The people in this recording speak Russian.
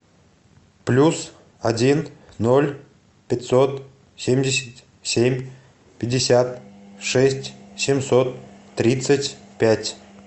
плюс один ноль пятьсот семьдесят семь пятьдесят шесть семьсот тридцать пять